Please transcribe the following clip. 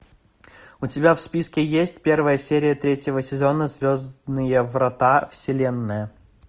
у тебя в списке есть первая серия третьего сезона звездные врата вселенная